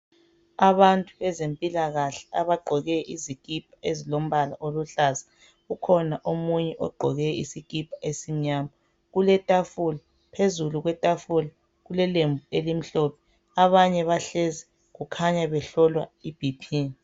Abantu bezempilakahle abagqoke izikipa ezilombala oluhlaza ukhona omunye ogqoke isikipa esimnyama. Kuletafula phezulu kwetafula kulelembu elimhlophe. Abanye bahlezi kukhanya behlolwa iBP.